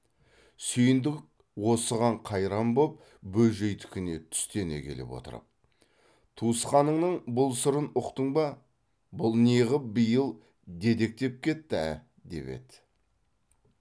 сүйіндік осыған қайран боп бөжейдікіне түстене келіп отырып туысқаныңның бұл сырын ұқтың ба бұл неғып биыл дедектеп кетті ә деп еді